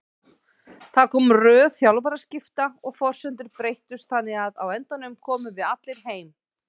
Það kom röð þjálfaraskipta og forsendur breyttust þannig að á endanum komum við allir heim.